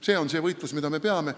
See on see võitlus, mida me peame.